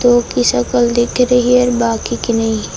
उनकी शक्ल देख रही है और बाकी की नहीं है।